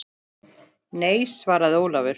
Nei, svaraði Ólafur.